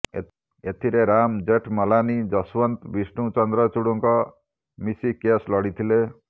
ଏଥିରେ ରାମ ଜେଠମଲାନୀ ଯଶଓ୍ବନ୍ତ ବିଷ୍ଣୁ ଚନ୍ଦ୍ରଚୂଡଙ୍କ ମିଶି କେସ୍ ଲଢିଥିଲେ